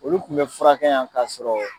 Olu kun be furakɛ yan ka sɔrɔ